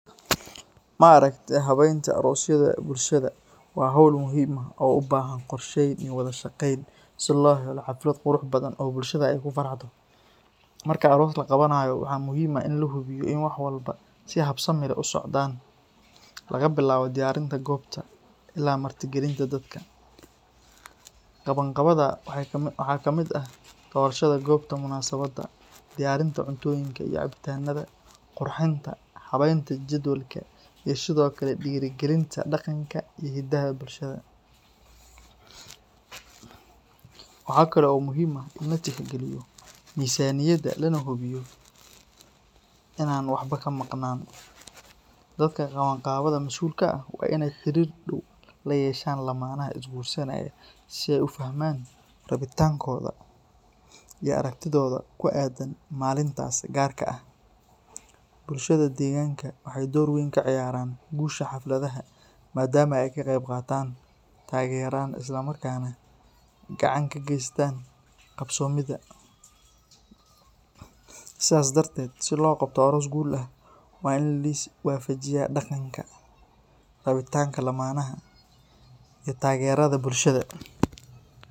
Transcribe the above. Maaragte habeynta arosyada bulshada waa hawl muhiim ah oo u baahan qorsheyn iyo wada shaqeyn si loo helo xaflad qurux badan oo bulshada ay ku faraxdo. Marka aroos la qabanayo, waxaa muhiim ah in la hubiyo in wax walba si habsami leh u socdaan, laga bilaabo diyaarinta goobta ilaa martigelinta dadka. Qabanqaabada waxaa ka mid ah doorashada goobta munaasabadda, diyaarinta cuntooyinka iyo cabitaanada, qurxinta, habeynta jadwalka iyo sidoo kale dhiirrigelinta dhaqanka iyo hiddaha bulshada. Waxaa kale oo muhiim ah in la tixgeliyo miisaaniyadda lana hubiyo in aan waxba ka maqnaan. Dadka qabanqaabada mas’uulka ka ah waa in ay xiriir dhow la yeeshaan lamaanaha is-guursanaya si ay u fahmaan rabitaankooda iyo aragtidooda ku aaddan maalintaas gaarka ah. Bulshada deegaanka waxay door weyn ka ciyaartaa guusha xafladda maadaama ay ka qeybqaataan, taageeraan islamarkaana gacan ka geystaan qabsoomidda. Sidaa darteed, si loo qabto aroos guul ah, waa in la is waafajiyaa dhaqanka, rabitaanka lamaanaha iyo taageerada bulshada.